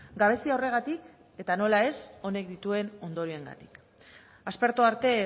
gabezia horregatik eta nola ez honek dituen ondorioengatik aspertu arte